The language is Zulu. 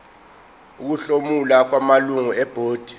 ukuhlomula kwamalungu ebhodi